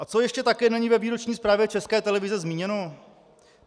A co ještě také není ve výroční zprávě České televize zmíněno?